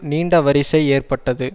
நீண்ட வரிசை ஏற்பட்டது